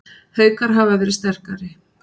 Haukar hafa verið sterkari